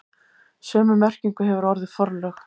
Sömu merkingu hefur orðið forlög.